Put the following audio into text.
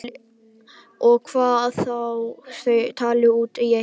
Og hvað þá að þau tali út í eitt.